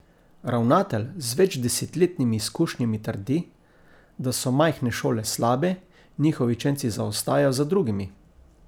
Ravnatelj z večdesetletnimi izkušnjami trdi, da so majhne šole slabe, njihovi učenci zaostajajo za drugimi.